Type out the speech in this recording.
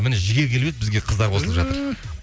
міне жігер келіп еді бізге қыздар қосылып жатыр түһ